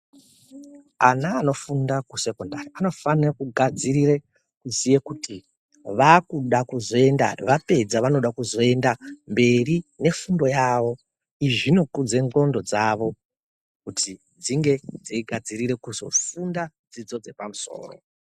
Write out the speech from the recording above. Ana anofunda kusekondari anofanire kugadzirire kuziye kuti vakuda kuzoenda vapedza vanoda kuzoenda mberi nefundo yavo. Izvi zvinokudze ndxondo dzavo kuti dzinge dzeigadzirire kuzofunda dzidzo dzepamusoro.